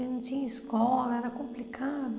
A gente não tinha escola, era complicado.